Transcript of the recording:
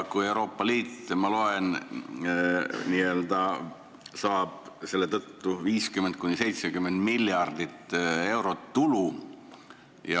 Euroopa Liit, ma loen, saab selle tõttu 50–70 miljardit eurot tulu.